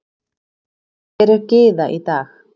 Hver er Gyða í dag?